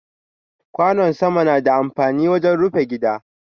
Kwano sama na da amfani wajen rufi gida.